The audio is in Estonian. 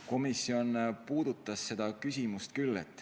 Komisjon puudutas seda küsimust küll.